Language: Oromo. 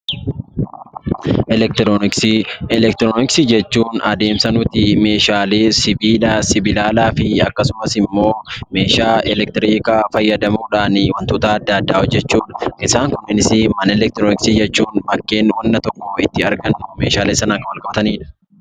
Elektirooniksii Elektirooniksii jechuun adeemsa nuti meeshaalee sibiila, sibiilalaa fi akkasumas immoo meeshaa elektiriikaa fayyadamuudhaan wantoota adda addaa hojjechuu dha. Isaan kunis mana elektirooniksii jechuun bakkeen wanta toko itti argannu meeshaalee sanaan wal qabatani dha.